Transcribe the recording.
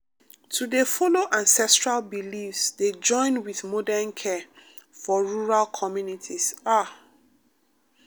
to dey follow ancestral beliefs dey join with modern care for rural communities ah.